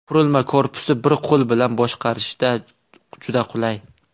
Qurilma korpusi bir qo‘l bilan boshqarishda juda qulay.